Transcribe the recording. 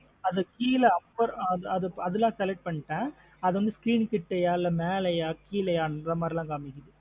அது கீழ upper ஆஹ் அதெல்லா select பண்ணிட்டன் அது வந்து Screen கீட்டயா இல்லா மேலயா கீழைய னுஅந்த மாத்ரி லாம் காமிக்குது.